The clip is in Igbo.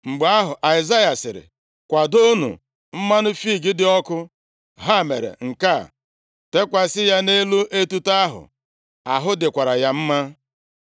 Mgbe ahụ, Aịzaya sịrị, “Kwadoonụ mmanụ fiig dị ọkụ.” Ha mere nke a, teekwasị ya nʼelu etuto ahụ, ahụ dịkwara ya mma.